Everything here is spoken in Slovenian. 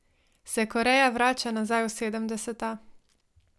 Se Koreja vrača nazaj v sedemdeseta?